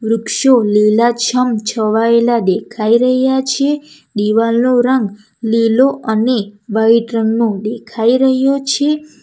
વૃક્ષો લીલાછમ છવાયેલા દેખાઈ રહ્યા છે દિવાલનો રંગ લીલો અને વાઈટ રંગનો દેખાઈ રહ્યો છે.